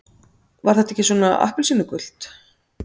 Var þetta ekki svona appelsínugult?